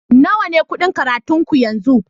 Nawa ne kuɗin karatun ki yanzu?